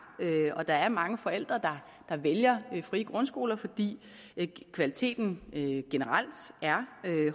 og der er mange forældre der vælger de frie grundskoler fordi kvaliteten generelt er